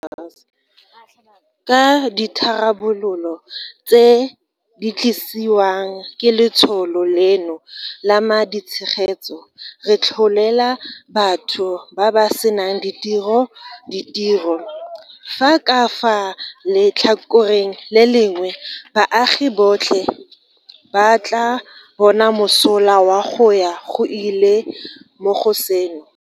Ka ditharabololo tse di tlisiwang ke letsholo leno la ma ditshegetso, re tlholela batho ba ba senang ditiro ditiro, fa ka fa letlhakoreng le lengwe baagi botlhe ba tla bona mosola wa go ya go ile mo go seno.